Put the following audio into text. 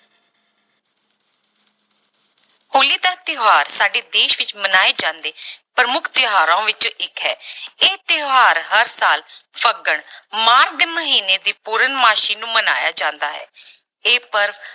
ਹੋਲੀ ਦਾ ਤਿਉਹਾਰ ਸਾਡੇ ਦੇਸ ਵਿੱਚ ਮਨਾਏ ਜਾਂਦੇ ਪ੍ਰਮੁੱਖ ਤਿਉਹਾਰਾਂ ਵਿੱਚੋਂ ਇੱਕ ਹੈ ਇਹ ਤਿਉਹਾਰ ਹਰ ਸਾਲ ਫੱਗਣ ਮਾਘ ਦੇ ਮਹੀਨੇ ਦੀ ਪੂਰਨਮਾਸੀ ਨੂੰ ਮਨਾਇਆ ਜਾਂਦਾ ਹੈ ਇਹ ਪਰਵ